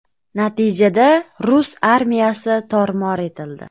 Natijada rus armiyasi tor-mor etildi.